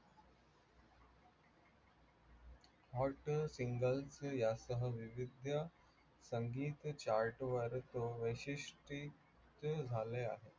hot single यासह विविध संगीत chart वर झाले आहे.